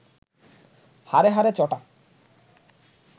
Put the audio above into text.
হাড়ে হাড়ে চটা